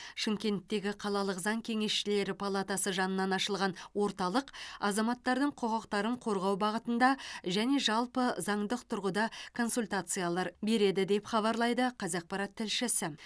шымкенттегі қалалық заң кеңесшілері палатасы жанынан ашылған орталық азаматтардың құқықтарын қорғау бағытында және жалпы заңдық тұрғыда консультациялар береді деп хабарлайды қазақпарат тілшісі